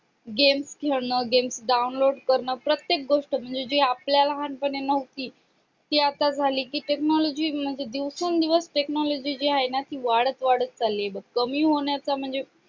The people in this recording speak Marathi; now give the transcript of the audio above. games खेळणं games download करणं प्रत्येक गोष्ट म्हणजे जी आपल्या लहानपणी नव्हती ती आता झाली कि technology म्हणजे दिवसेंदिवस technology जी आहे ना ती वाढत वाढत चालली आहे बघ कमी होण्याचा